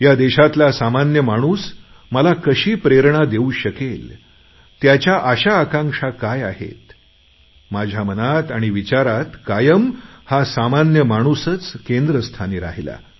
या देशातला सामान्य माणूस मला कशी प्रेरणा देऊ शकेल त्याच्या अशा आकांक्षा काय आहेत माझ्या मनात आणि विचारात कायम हा सामान्य माणूसच केंद्रस्थानी राहिला